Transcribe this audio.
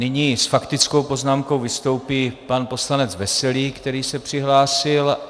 Nyní s faktickou poznámkou vystoupí pan poslanec Veselý, který se přihlásil.